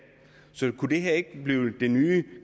så kunne det her ikke blive den nye